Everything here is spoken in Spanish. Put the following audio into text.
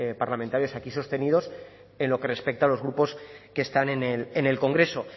parlamentarios aquí sostenidos en lo que respecta a los grupos que están en el congreso